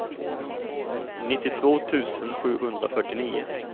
nittiotvå tusen sjuhundrafyrtionio